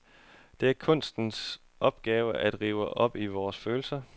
Det er kunstens opgave at rive op i vores følelser.